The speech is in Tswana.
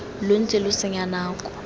lo ntse lo senya nako